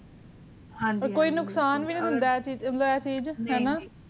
ਓਰ ਕੀ ਨੁਕਸਾਨ ਵਿਨੀ ਦਿੰਦਾ ਆ ਚੀਜ਼ ਆਯ ਚੀਜ਼